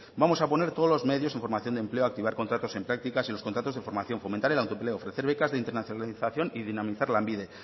vamos a poner todos los medios en formación de empleo activar contratos en prácticas y los contratos de formación fomentar el autoempleo ofrecer becas de internacionalización y dinamizar lanbide